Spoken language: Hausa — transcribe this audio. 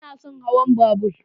Ba na son hawan babura.